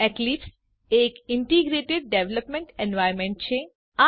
Eclipse એક integrated development environment છે